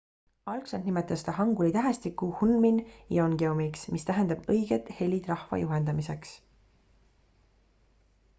algselt nimetas ta hanguli tähestikku hunmin jeongeumiks mis tähendab õiged helid rahva juhendamiseks